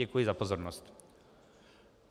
Děkuji za pozornost.